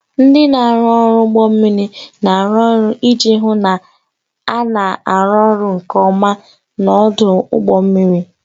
Ndị ọrụ ụgbọ mmiri na-arụ ọrụ iji hụ na a na-arụ ọrụ nke ọma n'ọdụ ụgbọ mmiri.